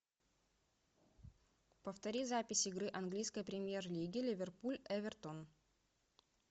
повтори запись игры английской премьер лиги ливерпуль эвертон